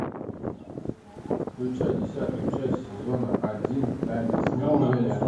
включай десятую часть сезона один тайны смолвиля